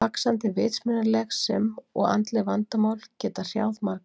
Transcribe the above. Vaxandi vitsmunaleg sem og andleg vandamál geta hrjáð marga.